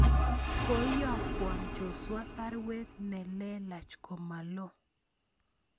Koiyokwan Joshua baruet nelelach komalo